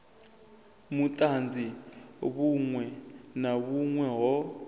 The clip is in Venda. vhutanzi vhunwe na vhunwe ho